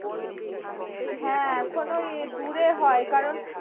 হ্যাঁ এখন ওই দূরে হয় কারণ